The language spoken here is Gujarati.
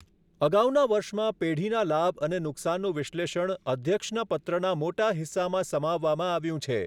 અગાઉના વર્ષમાં પેઢીના લાભ અને નુકસાનનું વિશ્લેષણ અધ્યક્ષના પત્રના મોટા હિસ્સામાં સમાવવામાં આવ્યું છે.